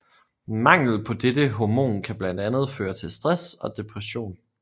Mangel på dette hormon kan blandt andet føre til stress og depression